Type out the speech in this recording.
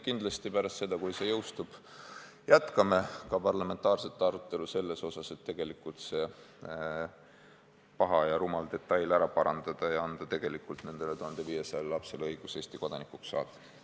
Kindlasti pärast seda, kui see seadus jõustub, jätkame parlamentaarset arutelu selle üle, et see paha ja rumal detail ära parandada ning anda tegelikult nendele 1500 lapsele õigus Eesti kodanikuks saada.